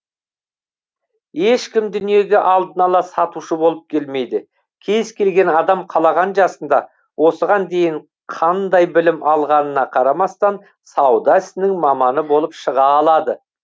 ешкім дүниеге алдын ала сатушы болып келмейді кез келген адам қалаған жасында осыған дейін қандай білім алғанына қарамастан сауда ісінің маманы болып шыға алады